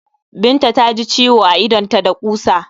Binta ta ji ciwo a idonta da ƙusa.